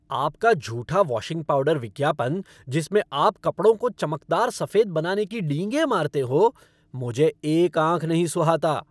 आपका झूठा washing powder विज्ञापन, जिसमें आप कपड़ों को चमकदार सफ़ेद बनाने की डींगें मारते हो, मुझे एक आँख नहीं सुहाता।